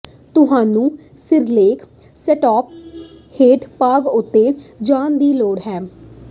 ਤੁਹਾਨੂੰ ਸਿਰਲੇਖ ਸੈੱਟਅੱਪ ਹੇਠ ਭਾਗ ਉੱਤੇ ਜਾਣ ਦੀ ਲੋੜ ਹੈ